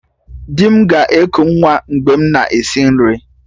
Di m ga-eku nwa mgbe m na-esi nri